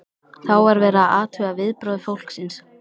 Þá var verið að athuga viðbrögð fólksins.